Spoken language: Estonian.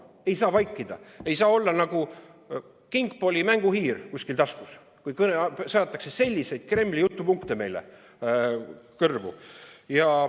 Ei saa vaikida, ei saa olla nagu Kingpoole mänguhiir kuskil taskus, kui aetakse selliseid Kremli jutupunkte meile kõrvu.